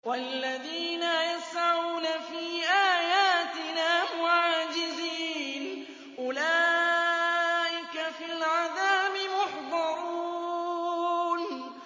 وَالَّذِينَ يَسْعَوْنَ فِي آيَاتِنَا مُعَاجِزِينَ أُولَٰئِكَ فِي الْعَذَابِ مُحْضَرُونَ